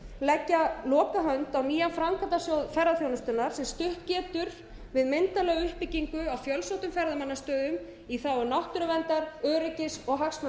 leggja lokahönd á nýja framkvæmdasjóð ferðaþjónustunnar sem stutt getur myndarlega við uppbyggingu á fjölsóttum ferðamannastöðum í þágu náttúruverndar öryggis og hagsmuna